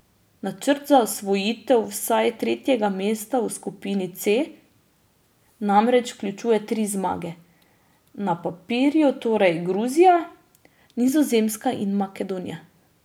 Načrt za osvojitev vsaj tretjega mesta v skupini C namreč vključuje tri zmage, na papirju torej Gruzija, Nizozemska in Makedonija.